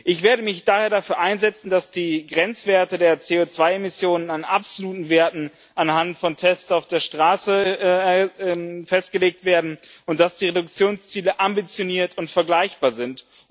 Ich werde mich daher dafür einsetzen, dass die Grenzwerte der CO2 Emissionen an absoluten Werten anhand von Tests auf der Straße festgelegt werden und dass die Reduktionsziele ambitioniert und vergleichbar sind.